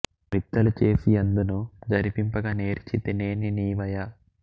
రిత్తలు చేసి యెందును జరింపగ నేరిచి తేని నీవ య